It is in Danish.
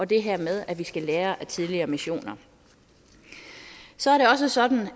det her med at vi skal lære af tidligere missioner så er det også sådan